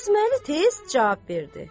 Qasıməli tez cavab verdi.